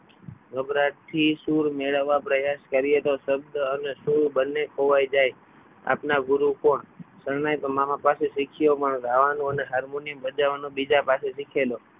ગભરાટ થી શું સુર મેળવવા પ્રયાસ કરીએ તો શબ્દ અને સુર બંને ખોવાઈ જાય આપના ગુરુ કોણ શરણાઈ તો મામા પાસે શીખ્યો પણ ગાવાનું અને harmonium બજાવવાનું બીજા પાસેથી શીખેલો.